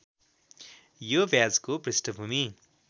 यो ब्याजको पृष्ठभूमि